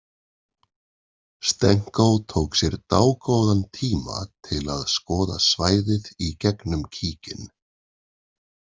Stenko tók sér dágóðan tíma til að skoða svæðið í gegnum kíkinn.